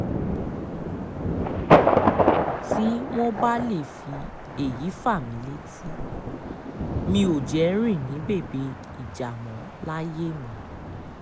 tí wọ́n bá lè fi èyí fà mí létí mi ò jẹ́ rìn ní bèbè ìjà mọ́ láyé mi o